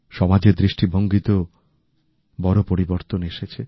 সমাজের দৃষ্টিভঙ্গিতেও বড় পরিবর্তন এসেছে